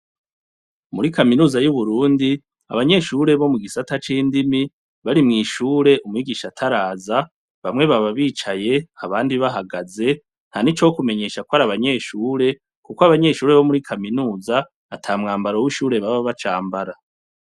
Muri kaminuza y'uburundi abanyeshure bo mu gisata c'indimi bari mw'ishure umwigisha ataraza bamwe baba bicaye abandi bahagaze nta ni co kumenyesha kw ari abanyeshure, kuko abanyeshure bo muri kaminuza ata mwambaro w'ishure baba bacambara.